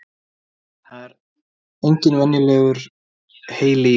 Það er engin venjulegur heili í honum.